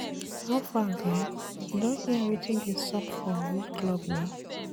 How far guy, you don hear wetin dey sup for we club na.